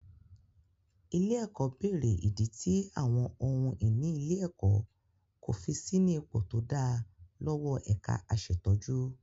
Ilé-ẹ̀kọ́ bèrè ìdí tí àwọn ohun ìní ilé-ẹ̀kọ́ kò fi sí ní ipò tó dáa lọ́wọ́ ẹ̀ka aṣètójú.